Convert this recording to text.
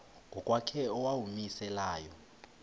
ngokwakhe owawumise layo